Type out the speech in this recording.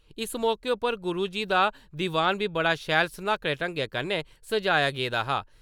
इस मौके उप्पर गुरुजी दा दीवान बी बड़े शैल स्नाकडे ढंग्गै कन्नै सजाया गेदा हा।